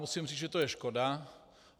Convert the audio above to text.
Musím říct, že to je škoda.